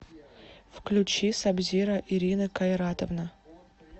включи сабзиро ирина кайратовна